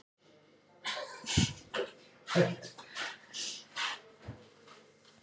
Ég verð því að stjórna og taka ákvarðanir fyrir nútíð og framtíð.